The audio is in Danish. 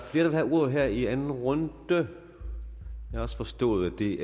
der vil have ordet her i anden runde jeg har forstået at det